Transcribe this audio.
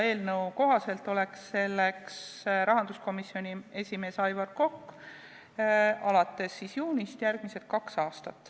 Eelnõu kohaselt on alates juunist järgmised kaks aastat selleks rahanduskomisjoni esimees Aivar Kokk.